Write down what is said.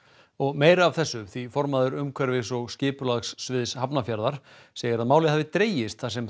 meira af þessu því formaður umhverfis og skipulagssviðs Hafnarfjarðarbæjar segir að málið hafi dregist þar sem